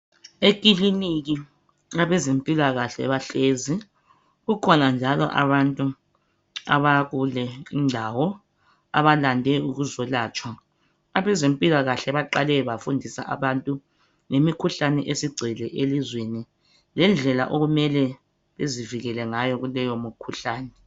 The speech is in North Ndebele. Ekiliniki abezempilakahle bahlezi. Kukhona njalo abantu abakule indawo abalande ukuzolatshwa. Abezempilakahle baqale bafundisa abantu ngimikhahlune esigcwele elizweni, lindlela okumele bezivikele ngayo kuleyo mikhuhlane.